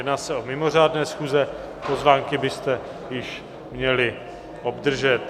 Jedná se o mimořádné schůze, pozvánky byste již měli obdržet.